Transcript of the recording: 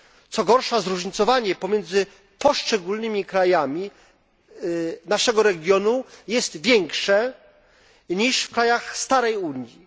Co gorsza, zróżnicowanie pomiędzy poszczególnymi krajami naszego regionu jest większe niż w krajach starej Unii.